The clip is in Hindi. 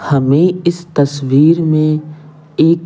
हमें इस तस्वीर में एक--